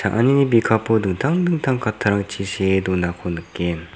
cha·anini bikapo dingtang dingtang kattarangchi see donako nikgen.